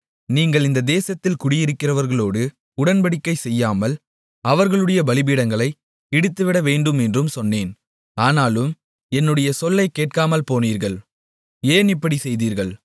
நீங்கள் இந்த தேசத்தில் குடியிருக்கிறவர்களோடு உடன்படிக்கைசெய்யாமல் அவர்களுடைய பலிபீடங்களை இடித்துவிடவேண்டும் என்றும் சொன்னேன் ஆனாலும் என்னுடைய சொல்லைக் கேட்காமல்போனீர்கள் ஏன் இப்படிச் செய்தீர்கள்